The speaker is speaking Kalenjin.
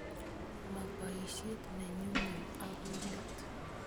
Ma poisyet ne nyumnyum akoi let